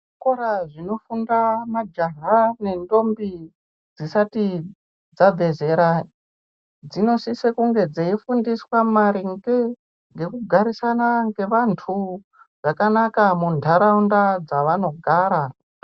Zvikora zvino funda majaha ne ndombi dzisati dzabve zera dzino sise kunge dzei fundiswa maringe ngeku garisana nge vantu zvakanaka mu ndaraunda dzavano gara.